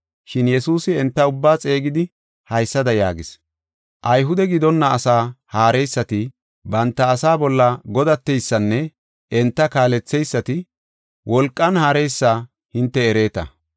Shin Yesuusi enta ubbaa xeegidi haysada yaagis. “Ayhude gidonna asaa haareysati banta asaa bolla godateysanne enta kaaletheysati wolqan haareysa hinte ereeta.